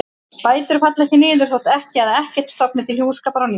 Bætur falla ekki niður þótt ekkja eða ekkill stofni til hjúskapar á ný.